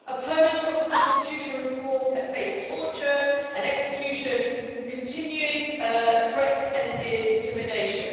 Opponents of the constitutional reform have faced torture, execution and continuing threats and intimidation.